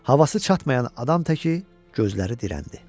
Havası çatmayan adam təki gözləri dirəndi.